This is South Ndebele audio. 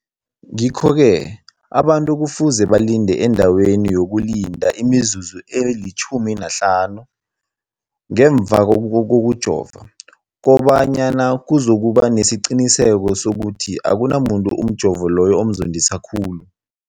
Ngikho-ke boke abantu kufuze balinde endaweni yokulinda imizuzu eli-15 ngemva kokujova, koba nyana kuzokuba nesiqiniseko sokuthi akunamuntu umjovo loyo omzondisa khulu.